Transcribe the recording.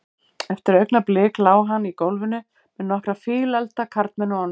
Eftir augnablik lá hann í gólfinu með nokkra fíleflda karlmenn ofan á sér.